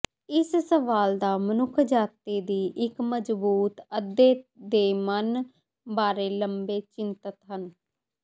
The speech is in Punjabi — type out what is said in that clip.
ਇਸ ਸਵਾਲ ਦਾ ਮਨੁੱਖਜਾਤੀ ਦੀ ਇੱਕ ਮਜ਼ਬੂਤ ਅੱਧੇ ਦੇ ਮਨ ਬਾਰੇ ਲੰਬੇ ਚਿੰਤਤ ਹਨ